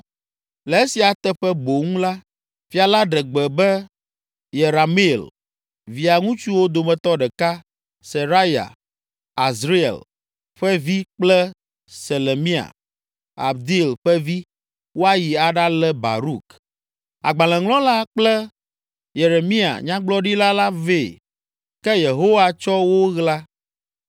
Le esia teƒe boŋ la, fia la ɖe gbe be Yerameel, via ŋutsuwo dometɔ ɖeka, Seraya, Azriel ƒe vi kple Selemia, Abdeel ƒe vi, woayi aɖalé Baruk, agbalẽŋlɔla kple Yeremia, nyagblɔɖila la vɛ, ke Yehowa tsɔ wo ɣla.